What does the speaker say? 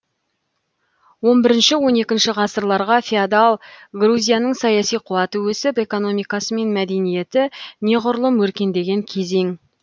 он бірінші он екінші ғасырларға феодал грузияның саяси қуаты өсіп экономикасы мен мәдениеті неғұрлым өркендеген кезең